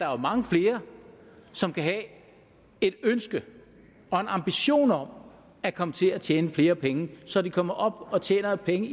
er mange flere som kan have et ønske og en ambition om at komme til at tjene flere penge så de kommer op og tjener penge